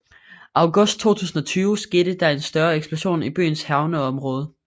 August 2020 skete der en større eksplosion i byens havneområde